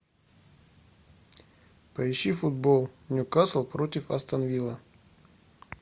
поищи футбол ньюкасл против астон вилла